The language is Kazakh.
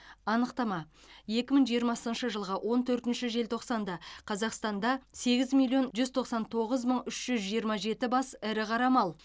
анықтама екі мың жиырмасыншы жылғы он төртінші желтоқсанда қазақстанда сегіз миллион жүз тоқсан тоғыз мың үз жүз жиырма жеті бас ірі қара мал